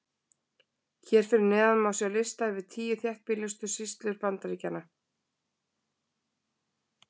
hér fyrir neðan má sjá lista yfir tíu þéttbýlustu sýslur bandaríkjanna